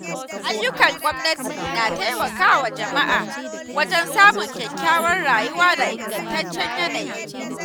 Ayyukan gwamnati na taimakawa jama'a wajen samun kyakkyawar rayuwa da ingantaccen yanayi.